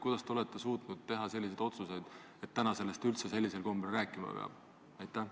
Kuidas te olete suutnud teha selliseid otsuseid, et täna sellest üldse sellisel kombel rääkima peab?